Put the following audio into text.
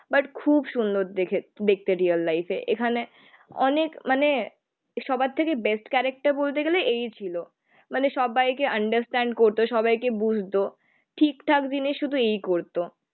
But খুব সুন্দর দেখে. দেখতে রিয়াল লাইফ এ. এখানে অনেক মানে সবার থেকে বেস্ট ক্যারেকটার বলতে গেলে এই ছিল. মানে সব্বাইকে আন্ডারস্ট্যান্ড করতো, সবাইকে বুঝতো. ঠিকঠাক দিনে শুধু এই করতো